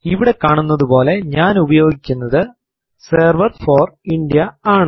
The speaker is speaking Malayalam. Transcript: ഇവിടെ കാണുന്നതുപോലെ ഞാൻ ഉപയോഗിക്കുന്നത് സെർവർ ഫോർ ഇന്ത്യ ആണ്